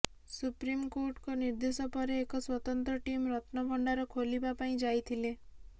ସୁପ୍ରିମ୍କୋର୍ଟଙ୍କ ନିର୍ଦ୍ଦେଶ ପରେ ଏକ ସ୍ୱତନ୍ତ୍ର ଟିମ୍ ରତ୍ନଭଣ୍ଡାର ଖୋଲିବା ପାଇଁ ଯାଇଥିଲେ